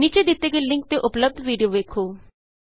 ਨੀਚੇ ਦਿਤੇ ਗਏ ਲਿੰਕ ਤੇ ਉਪਲੱਭਦ ਵੀਡੀਉ ਵੇਖੋ